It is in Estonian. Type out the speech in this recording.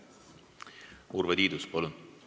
Urve Tiidus, palun!